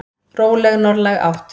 Róleg norðlæg átt